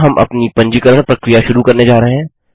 यहाँ हम अपनी पंजीकरण प्रक्रिया शुरू करने जा रहे हैं